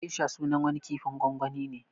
Gesha sunan wani kifin gwangwani ne